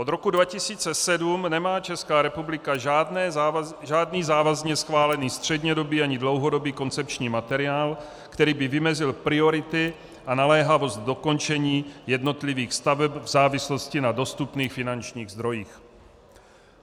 Od roku 2007 nemá Česká republika žádný závazně schválený střednědobý ani dlouhodobý koncepční materiál, který by vymezil priority a naléhavost dokončení jednotlivých staveb v závislosti na dostupných finančních zdrojích."